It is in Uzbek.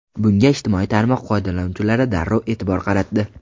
Bunga ijtimoiy tarmoq foydalanuvchilari darrov e’tibor qaratdi.